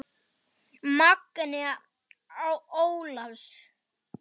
Magnea Ólafs.